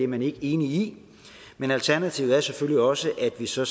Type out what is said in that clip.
man ikke er enig i men alternativet er selvfølgelig også at vi så